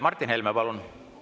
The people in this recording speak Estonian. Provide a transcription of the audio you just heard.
Martin Helme, palun!